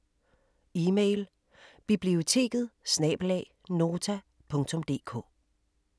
Email: biblioteket@nota.dk